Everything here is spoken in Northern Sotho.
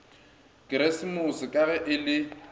keresemose ka ge e le